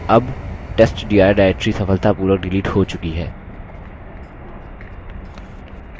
अब testdir directory सफलतापूर्वक delete हो चुकी है